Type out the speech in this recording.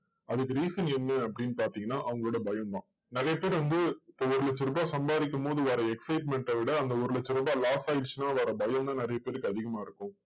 அதுக்கு reason என்ன அப்படின்னு பாத்தீங்கன்னா அவங்களோட பயம்தான். நிறைய பேர் வந்து ஒரு லட்சம் ரூபாய் சம்பாதிக்கும்போது வர excitement அ விட அந்த ஒரு லட்சம் ரூபாய் loss ஆயிருச்சுன்னா வர பயம்தான் நிறைய பேருக்கு அதிகமா இருக்கும்.